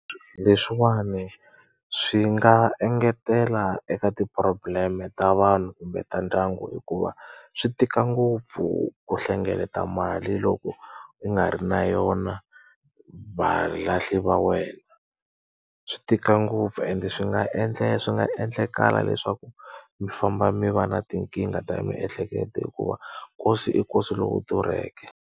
Leswiwani swi nga engetela eka ti-problem-e ta vanhu kumbe ta ndyangu hikuva, swi tika ngopfu ku hlengeleta mali loko u nga ri na yona valahli va wena. Swi tika ngopfu ende swi nga swi nga endlakala leswaku mi famba mi va na tinkingha ta miehleketo hikuva, nkosi i nkosi lowu durheke.